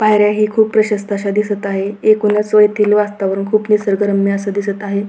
पायऱ्या हे खूप प्रशस्थ अशा दिसत आहे एकूणच येथील वातावरण खूप निसर्गरम्य दिसत आहे.